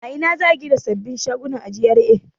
A ina ne za a gina sababbin shaguna a GRA?